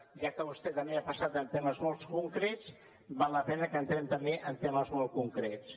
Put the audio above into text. ja que vostè també ha passat per temes molt concrets val la pena que entrem també en temes molt concrets